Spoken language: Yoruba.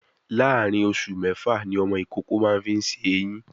Láàárín oṣù mẹ́fà ni ọmọ ìkókó fi máa ń ṣe èyín